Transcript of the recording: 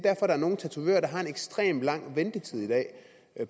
at der er nogle tatovører der har en ekstremt lang ventetid i dag